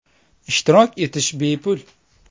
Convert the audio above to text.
Ishtirok etish bepul.